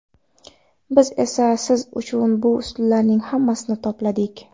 Biz esa siz uchun bu usullarning hammasini to‘pladik!